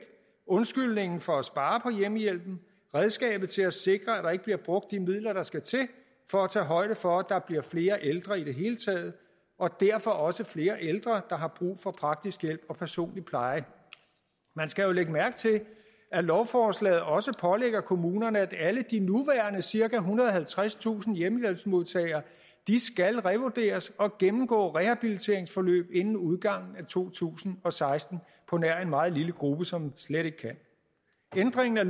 undskyldningen for at spare på hjemmehjælpen redskabet til at sikre at der ikke bliver brugt de midler der skal til for at tage højde for at der bliver flere ældre i det hele taget og derfor også flere ældre der har brug for praktisk hjælp og personlig pleje man skal jo lægge mærke til at lovforslaget også pålægger kommunerne at alle de nuværende cirka ethundrede og halvtredstusind hjemmehjælpsmodtagere skal revurderes og gennemgå rehabiliteringsforløb inden udgangen af to tusind og seksten på nær en meget lille gruppe som slet ikke kan ændring af